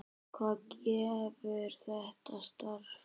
Hvað gefur þetta starf?